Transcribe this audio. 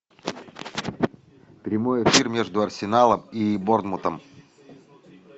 прямой эфир между арсеналом и борнмутом